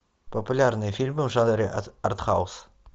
популярные фильмы в жанре артхаус